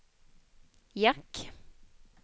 jack